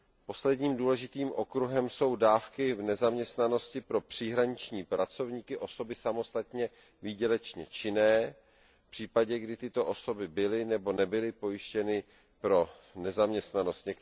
Posledním důležitým okruhem jsou dávky v nezaměstnanosti pro příhraniční pracovníky vykonávající samostatně výdělečnou činnost v případě, kdy tyto osoby byly nebo nebyly pojištěny pro nezaměstnanost.